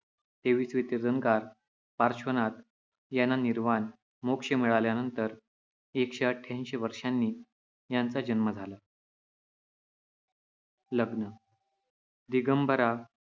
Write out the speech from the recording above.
तेवीसवे तीर्थंकर पार्श्वनाथ यांना निर्वाण मोक्ष मिळाल्यानंतर एकशे अठ्याऐंशी वर्षांनी त्यांचा जन्म झाला. लग्न दिगंबरा